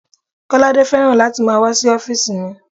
Kolade fẹ́ràn láti máa wá sí ọ́físì mi